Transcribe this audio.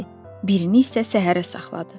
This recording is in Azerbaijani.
birini isə səhərə saxladı.